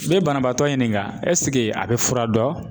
N'i ye banabaatɔ ɲininka a be fura dɔn ?